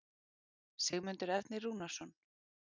Sigmundur Ernir Rúnarsson